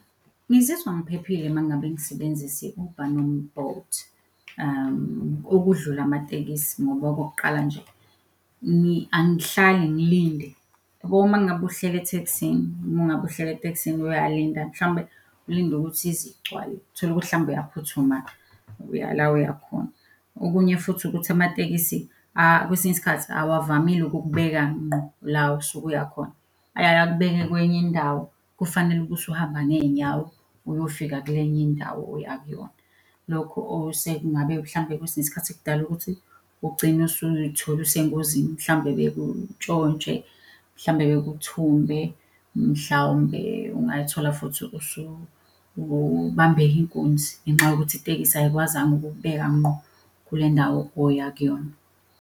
Ngizizwa ngiphephile uma ngabe ngisebenzisa u-Uber noma u-Bolt, okudlula amatekisi ngoba okokuqala nje angihlali ngilinde. Uyabo uma ngabe uhleli ethekisini mungabe uhleli etekisini uyalinda mhlawumbe ulinde ukuthi ize igcwale, uthole ukuthi mhlawumbe uyaphuthuma uya la oyakhona. Okunye futhi ukuthi amatekisi kwesinye isikhathi awavamile ukukubeka ngqo la osuke uyakhona, ayaye akubeke kwenye indawo kufanele ukuthi uhamba ngey'nyawo uyofika kulenye indawo oya kuyona. Lokho osekungabe mhlawumbe kwesinye isikhathi kudala ukuthi ugcine usuy'thola usengozini mhlawumbe bekuntshontshe, mhlawumbe bekuthumbe, mhlawumbe ungayithola futhi usubambeke inkunzi ngenxa yokuthi itekisi ayikwazanga ukukubeka ngqo kule ndawo oya kuyona.